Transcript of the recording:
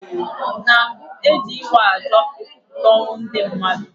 Na mbu, e ji ịwa ajo ekwupụta ọnwụ ndị mmadụ.